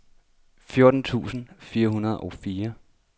fjorten tusind fire hundrede og fire